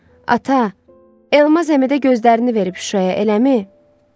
Ata, Elmaz əmi də gözlərini verib Şuşaya, eləmi?